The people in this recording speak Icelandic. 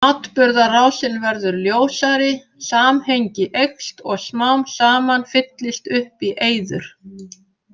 Atburðarásin verður ljósari, samhengi eykst og smám saman fyllist upp í eyður.